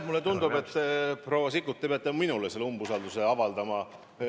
Mulle tundub, et te peate minule umbusaldust avaldama.